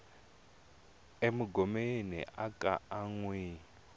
e mungomeni aka ha yiwi